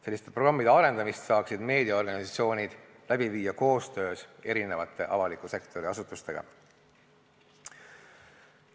Selliste programmide arendamist saaksid meediaorganisatsioonid läbi viia koostöös avaliku sektori asutustega.